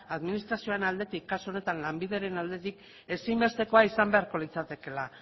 administrazioaren aldetik kasu honetan lanbideren aldetik ezinbestekoa izan beharko litzatekeela